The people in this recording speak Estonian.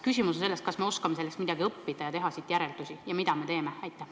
Küsimus on selles, kas me oskame sellest midagi õppida ja langetada õigeid otsuseid, mida teha.